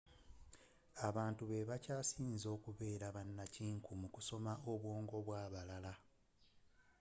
abantu be bakyasize okubeera bannakinku mu kusoma obwongo bw'abalala